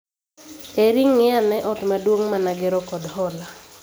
Eri ng'I ane ot maduong' mane agero kod hola